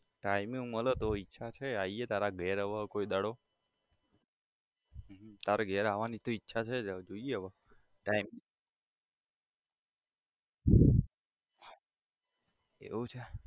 Timing મળે તો ઈચ્છા છે આઇએ તારા ઘેર હવે કોઈક દાડો બીજું તારા ઘેર આવાની તો ઇચ્છા છે જ હવે જોઈએ હવે time એવું છે?